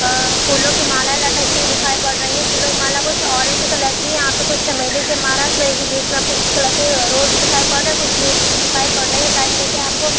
अ फूलों की माला लटकती हुई दिखाई पड़ रही है फूलों की माला कुछ ऑरेंज कलर की है। यहाँ पे कुछ चमेली के माला मिलेगी बीच में आपको रेड कलर के रोज़ दिखाई पड़ रहे हैं कुछ लीफ भी दिखाई पड़ रही है साइड में देखिए आपको